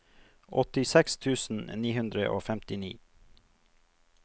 åttiseks tusen ni hundre og femtini